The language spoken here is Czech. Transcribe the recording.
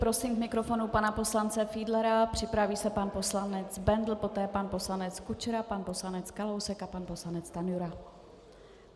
Prosím k mikrofonu pana poslance Fiedlera, připraví se pan poslanec Bendl, poté pan poslanec Kučera, pan poslanec Kalousek a pan poslanec Stanjura.